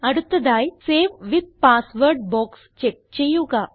അടുത്തതായി save with password box check ചെയ്യുക